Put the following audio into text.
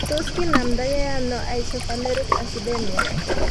Tos kinamda ge ano isovaleric acidemia?